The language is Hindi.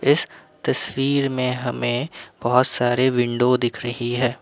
इस तस्वीर में हमें बहोत सारे विंडो दिख रही है।